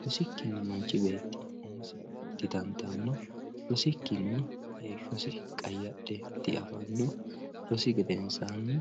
rosikkinni manchi beeti umosi didandaano, rosikkinni heeshosi qayadhe di, afanno rosi geedeensanni